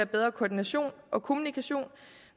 bedre koordination og kommunikation